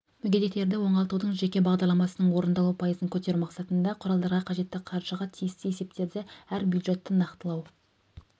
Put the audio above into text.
мүгедектерді оңалтудың жеке бағдарламасының орындалу пайызын көтеру мақсатында құралдарға қажетті қаржыға тиісті есептерді әр бюджетті нақтылау